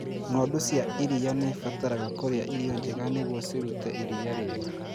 Ng'ondu cia iria nĩ ibataraga kũrĩa irio njega nĩguo cirute iria rĩega.